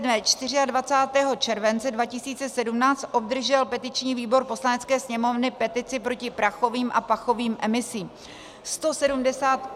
Dne 24. července 2017 obdržel petiční výbor Poslanecké sněmovny petici proti prachovým a pachovým emisím.